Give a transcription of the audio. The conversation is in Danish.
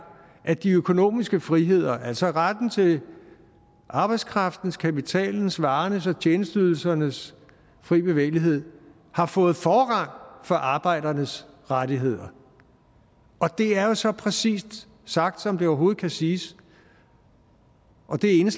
at de økonomiske friheder altså retten til arbejdskraftens kapitalens varernes og tjenesteydelsernes frie bevægelighed har fået forrang for arbejdernes rettigheder og det er jo så præcist sagt som det overhovedet kan siges og det er